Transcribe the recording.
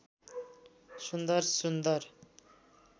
सुन्दर सुन्दर